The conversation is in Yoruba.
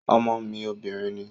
Ọmọ mi obìnrin ni